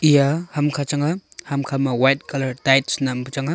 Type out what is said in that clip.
eya ham kha chang a hamkha ma White colour tights nampu chang a.